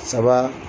Saba